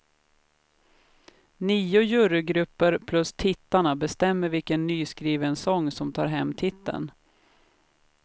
Nio jurygrupper plus tittarna bestämmer vilken nyskriven sång som tar hem titeln.